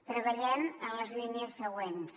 treballem en les línies següents